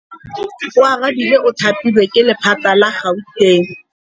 Oarabile o thapilwe ke lephata la Gauteng.